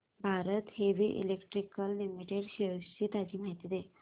Bharat heavy electricals limited shares ची ताजी माहिती दे